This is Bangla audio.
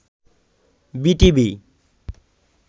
বিটিভি